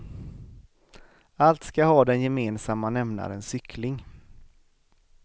Allt ska ha den gemensamma nämnaren cykling.